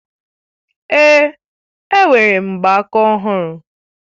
Èé, e nwere m mgbaaka ọhụrụ